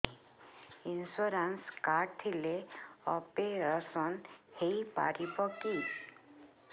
insurance card ଥିଲେ operation ହେଇପାରିବ କି